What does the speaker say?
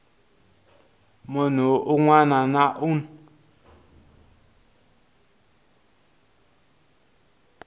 munhu un wana na un